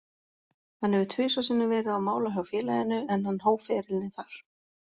Hann hefur tvisvar sinnum verið á mála hjá félaginu, en hann hóf ferilinn þar.